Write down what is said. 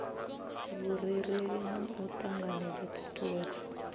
vhurereli na u ṱanganedza ṱhuṱhuwedzo